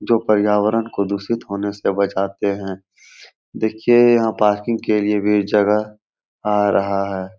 जो पर्यावरण को दूषित होने से बचाते हैं देखिए यहाँ पार्किंग के लिए भी जगह आ रहा है।